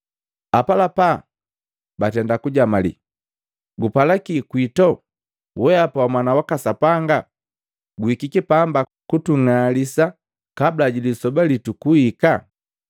Apalapa batenda kujamalii, “Gupala kike kwito, wehapa wa Mwana waka Sapanga? Guhikiki pamba kutung'alisa kabula ji lisoba litu kuhika?”